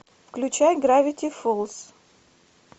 включай гравити фолз